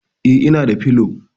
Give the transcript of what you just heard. E, ina da pillow.